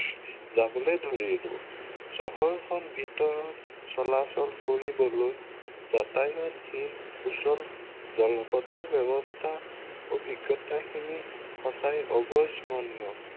যাবলৈ ধৰিলো। চহৰ খন ভিতৰত চলাচল কৰিবলৈ যাতায়তশীল সুচল জলপথৰ ব্য়ৱস্থাৰ অভিজ্ঞতাখিনি সঁচাই অবিস্মৰণীয়।